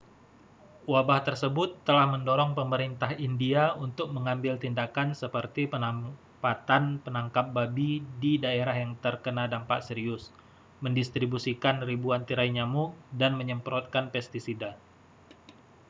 wabah tersebut telah mendorong pemerintah india untuk mengambil tindakan seperti penempatan penangkap babi di daerah yang terkena dampak serius mendistribusikan ribuan tirai nyamuk dan menyemprotkan pestisida